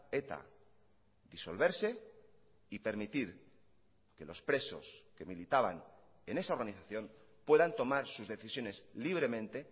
eta disolverse y permitir que los presos que militaban en esa organización puedan tomar sus decisiones libremente